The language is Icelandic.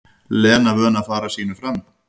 Lena vön að fara sínu fram.